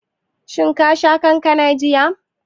Shin ka sha kankanan jiya?